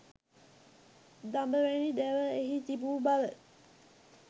දඹ වැනි දැව එහි තිබු බව